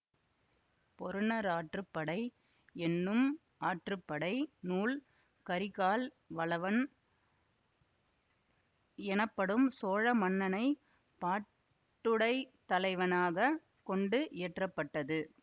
பொருநராற்றுப்படை என்னும் ஆற்றுப்படை நூல் கரிகால் வளவன் எனப்படும் சோழ மன்னனைப் பாட்டுடைத்தலைவனாகக் கொண்டு இயற்ற பட்டது